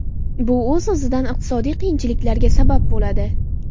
Bu o‘z o‘zidan iqtisodiy qiyinchiliklarga sabab bo‘ladi.